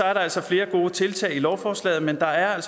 er der altså flere gode tiltag i lovforslaget men der er